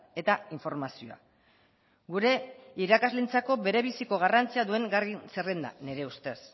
eta informazioa gure irakasleentzako berebiziko garrantzia duen zerrenda nire ustez